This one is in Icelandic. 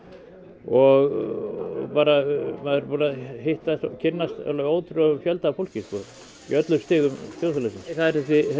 og maður er búinn að kynnast alveg ótrúlegum fjölda af fólki sko í öllum stigum þjóðfélagsins það eru